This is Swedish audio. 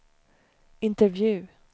intervju